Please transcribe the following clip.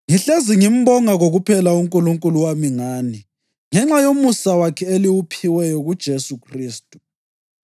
Ngihlezi ngimbonga kokuphela uNkulunkulu wami ngani, ngenxa yomusa wakhe eliwuphiweyo kuJesu Khristu.